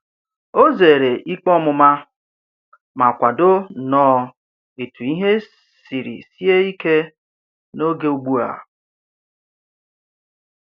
O zeere ikpe ọmụma ma kwado nnọọ etu ihe siri sie ike n'oge ugbu a.